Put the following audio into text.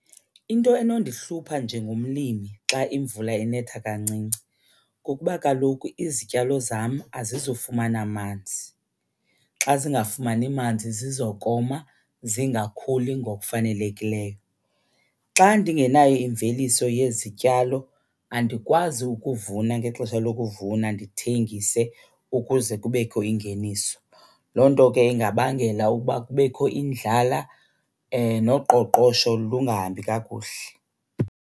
Into enondihlupha njengomlimi xa imvula inetha kancinci kukuba kaloku izityalo zam azizufumana manzi. Xa zingafumani manzi zizokoma zingakhuli ngokufanelekileyo. Xa ndingenayo imveliso yezityalo, andikwazi ukuvuna ngexesha lokuvuna ndithengise ukuze kubekho ingeniso. Loo nto ke ingabangela ukuba kubekho indlala noqoqosho lungahambi kakuhle.